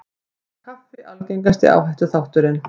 Var kaffi algengasti áhættuþátturinn